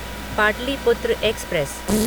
Pataliputra express